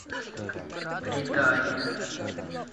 предание